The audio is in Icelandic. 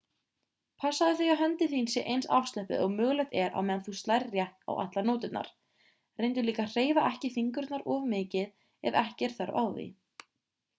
passaðu þig að höndin þín sé eins afslöppuð og mögulegt er á meðan þú slærð rétt á allar nóturnar reyndu líka að hreyfa ekki fingurna of mikið ef ekki er þörf á því